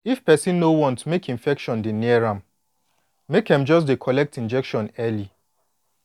if person no wan make infection dey near am make em just dey collect injection early